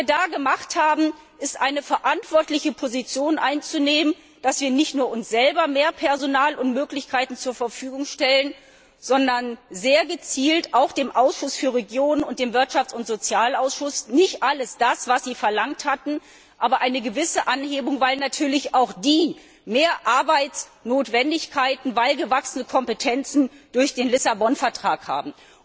Und was wir da gemacht haben, ist, eine verantwortliche Position einzunehmen, dass wir nicht nur uns selber mehr Personal und Möglichkeiten zur Verfügung stellen, sondern sehr gezielt auch dem Ausschuss der Regionen und dem Wirtschafts und Sozialausschuss nicht alles das, was sie verlangt hatten, aber eine gewisse Anhebung der Mittel zugestanden haben, weil natürlich auch die mehr Arbeitsnotwendigkeiten durch gewachsene Kompetenzen durch den Lissabon Vertrag haben.